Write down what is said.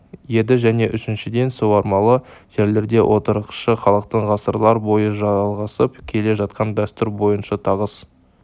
еді және үшіншіден суармалы жерлерде отырықшы халықтың ғасырлар бойы жалғасып келе жатқан дәстүр бойынша тығыз